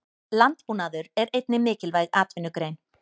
Landbúnaður er einnig mikilvæg atvinnugrein.